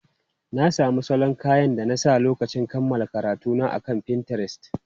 Na sami salon kayan da na sa a lokacin kammala karatuna akan Pinterest.